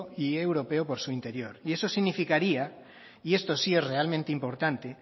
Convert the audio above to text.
y europeo por su interior y eso significaría y esto sí es realmente importante